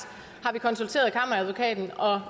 har vi konsulteret kammeradvokaten og